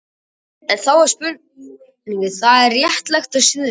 Og þá er spurningin, er það, er það réttlátt og siðlegt?